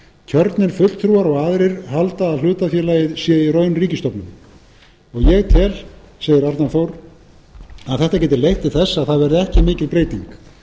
kjörnir fulltrúar og aðrir halda að hlutafélagið sé í raun ríkisstofnun ég tel segir arnar þór að þetta geti leitt til þess að það verði ekki mikil breyting